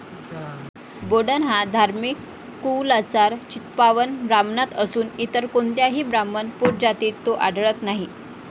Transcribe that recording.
बोडण हा धार्मिक कुउलाचार चित्पावन ब्राह्मणांत असून इतर कोणत्याही ब्राह्मण पोटजातीत तो आढळत नाही.